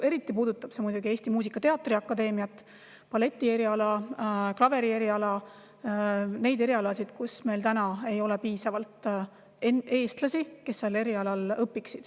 Eriti puudutab see muidugi Eesti Muusika- ja Teatriakadeemiat, balletieriala, klaverieriala – neid erialasid, kus meil ei ole piisavalt eestlasi õppimas.